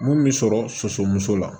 Mun bɛ sɔrɔ sɔso muso la